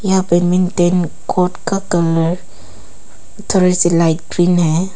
यह पे badminton court का कलर थोड़ा सा लाइट ग्रीन है।